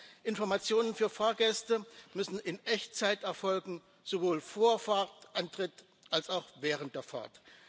Zweitens müssen Informationen für Fahrgäste in Echtzeit erfolgen sowohl vor Fahrtantritt als auch während der Fahrt.